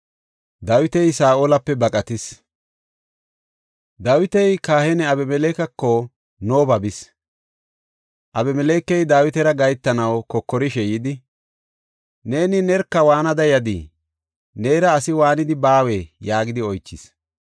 Dawiti kahiniya Abimelekeko Nooba bis. Abimelekey Dawitara gahetanaw kokorishe yidi, “Neeni nerka waanada yadii? Neera asi waanidi baawee?” yaagidi oychis.